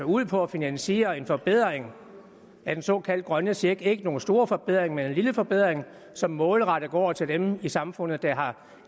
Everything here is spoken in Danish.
ud på at finansiere en forbedring af den såkaldte grønne check det er ikke nogen stor forbedring men en lille forbedring som målrettet går til dem i samfundet der har